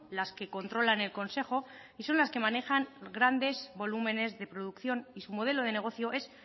las que controlan el consejo y son las que manejan grandes volúmenes de producción y su modelo de negocio es